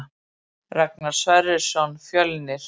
Ragnar Sverrisson Fjölnir